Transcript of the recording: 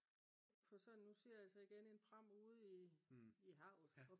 på sådan nu siger jeg altså igen en pram ude i havet